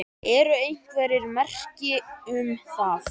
Eru einhver merki um það?